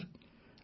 ଆଜ୍ଞା ସାର୍